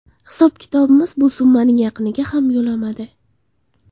Hisob-kitobimiz bu summaning yaqiniga ham yo‘lamadi.